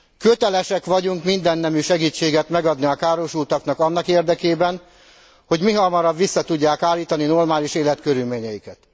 Kötelesek vagyunk mindennemű segítséget megadni a károsultaknak annak érdekében, hogy mihamarabb vissza tudják állítani normális életkörülményeiket.